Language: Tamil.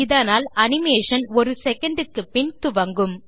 இதனால் அனிமேஷன் ஒரு செகண்ட் க்குப்பின் துவங்கும்